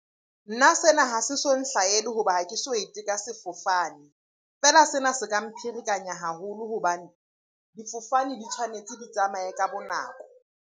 Nna sena ha se so nhlahele hoba ha ke so ete ka sefofane. Feela sena se ka mpherekanya haholo hobane difofane di tshwanetse di tsamaye ka bo nako.